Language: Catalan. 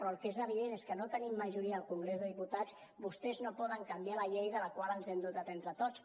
però el que és evident és que no tenint majoria al congrés de diputats vostès no poden canviar la llei de la qual ens hem dotat entre tots